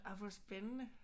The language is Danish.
Ej hvor spændende